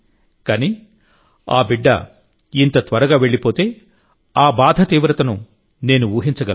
కానీ ఆ బిడ్డ ఇంత త్వరగా వెళ్లిపోతే ఆ బాధ తీవ్రతను నేను ఊహించగలను